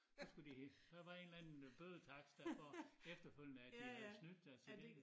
Så skulle de der var en eller anden bødetakst dér for efterfølgende at de havde snydt sig til det